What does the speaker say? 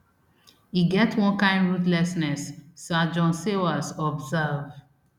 e get one kain ruthlessness sir john sawers observe